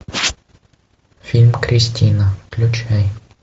фильм кристина включай